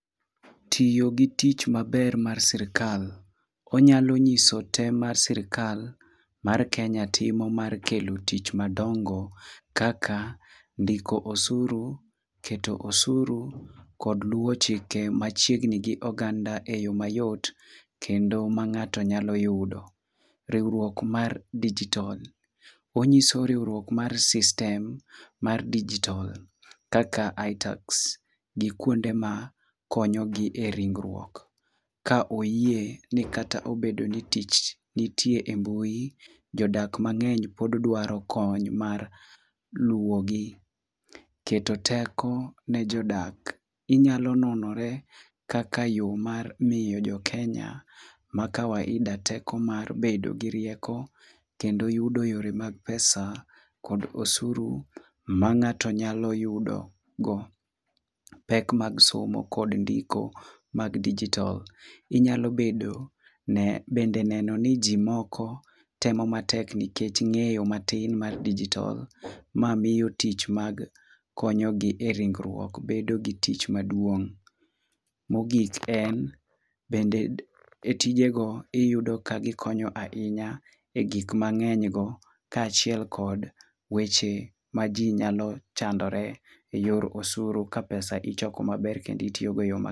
Tiyo gi tich maber mar sirkal: onyalo nyiso tem mar sirkal mar Kenya timo mar kelo tich madongo kaka ndiko osuru, keto osuru, kod luwo chike machiegni gi oganda e yo mayot kendo ma ng'ato nyalo yudo. Riwruok mar digitol: onyiso riwruok ma sistem mar dijitol kaka iTax gi kuonde ma konyogi e ringruok. Ka oyie ni kata obedo ni tich nitie e mbui, jodak mang'eny pod dwaro kony mar luwogi. Keto teko ne jodak: inyalo nonore kaka yo mar miyo jo Kenya ma kawaida teko mar bedo gi rieko kendo yudo yore mag pesa kod osuru ma ng'ato nyalo yudo go pek mag somo kod ndiko mag dijitol. Inyalo bedo bende neno ni ji moko temo matek nikech ng'eyo matin mar dijitol, ma miyo tich mag konyogi e ringruok bedo gi tich maduong'. Mogik en, bende e tijego iyudo ka gikonyo ahinya e gik mang'enygo kaachiel kod weche ma ji nyalo chandore e yor osuru ka pesa ichoko maber kendo itiyogo e yo ma.